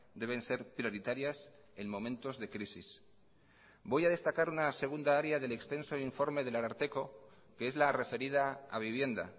deben ser prioritarias en momentos de crisis voy a destacar una segunda área del extenso informe del ararteko que es la referida a vivienda